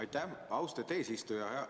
Aitäh, austet eesistuja!